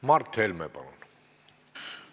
Mart Helme, palun!